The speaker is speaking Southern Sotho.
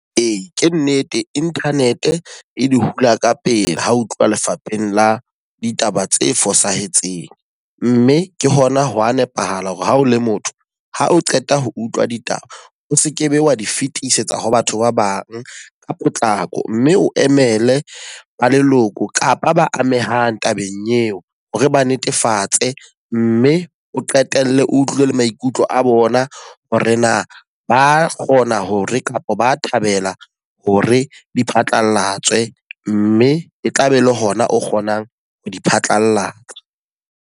Ee, ke nnete internet e di hula ka pele ha ho tluwa lefapheng la ditaba tse fosahetseng. Mme ke hona ho wa nepahala hore ha o le motho, ha o qeta ho utlwa ditaba o sekebe wa di fetisetsa ho batho ba bang ka potlako. Mme o emele ba leloko kapa ba amehang tabeng eo hore ba netefatse mme o qetelle o utlwe le maikutlo a bona hore na ba kgona hore kapa ba thabela hore di phatlalatswe. Mme e tla be e le hona o kgonang ho di phatlalatsa.